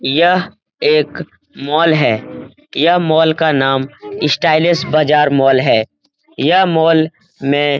यह एक मॉल है यह मॉल का नाम स्टाइलिश बाज़ार मॉल है यह मॉल में --